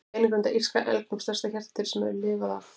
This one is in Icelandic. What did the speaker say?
Beinagrind af írska elgnum, stærsta hjartardýri sem lifað hefur.